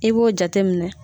I b'o jate minɛ